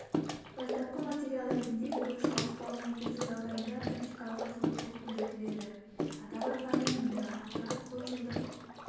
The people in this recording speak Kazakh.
бастапқы материал ретінде күріш ауыспалы егісі жағдайында практикалық қызығушылық білдіріледі атап айтқанда мұнда арпа көпжылдық